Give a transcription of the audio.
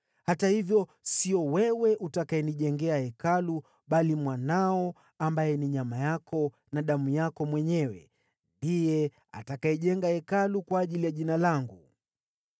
Hata hivyo, sio wewe utakayenijengea hekalu, bali mwanao, ambaye ni nyama yako na damu yako mwenyewe, yeye ndiye atakayejenga Hekalu kwa ajili ya Jina langu.’